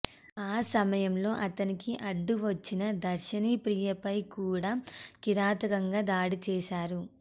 ఆ సమయంలో అతనికి అడ్డువచ్చిన దర్శినిప్రియపై కూడా కిరాతకంగా దాడి చేశారు